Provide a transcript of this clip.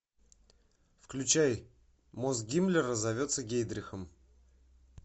включай мозг гиммлера зовется гейдрихом